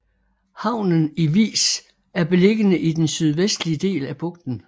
Havnen i Vis er beliggende i den sydvestlige del af bugten